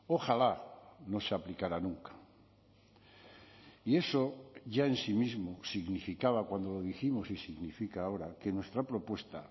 ojalá no se aplicara nunca y eso ya en sí mismo significaba cuando lo dijimos y significa ahora que nuestra propuesta